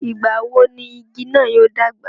ìgbà wo ni igi náà yóò dàgbà?